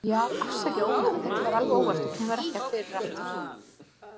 Já, afsakið ónæðið, þetta var alveg óvart og kemur ekki fyrir aftur.